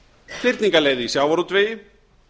fyrningarleið í sjávarútvegi